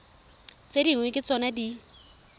tse dingwe ke tsona di